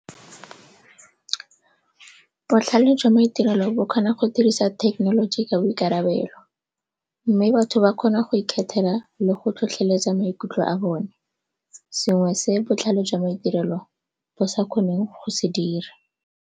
Botlhale jwa maitirelo bo kgona go dirisa thekenoloji ka boikarabelo mme batho ba kgona go ikgethela le go tlhotlheletsa maikutlo a bone, sengwe se botlhale jwa maitirelo bo sa kgoneng go se dira.